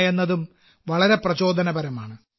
എന്നതും വളരെ പ്രചോദനപരമാണ്